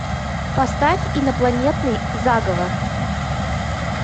поставь инопланетный заговор